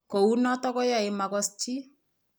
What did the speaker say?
Kou notok koyae komakos chii